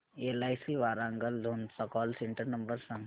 LIC Warangal zone चा call centre number सांग